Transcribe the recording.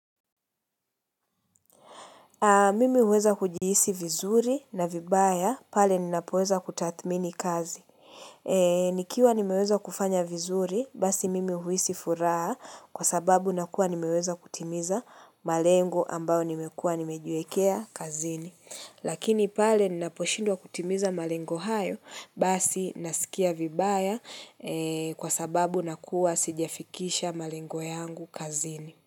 Mimi huweza kujihisi vizuri na vibaya, pale ninapoweza kutathmini kazi. Nikiwa nimeweza kufanya vizuri, basi mimi huhisi furaha kwa sababu nakuwa nimeweza kutimiza malengo ambayo nimekuwa nimejiwekea kazini. Lakini pale ninaposhindwa kutimiza malengo hayo, basi nasikia vibaya kwa sababu nakuwa sijafikisha malengo yangu kazini.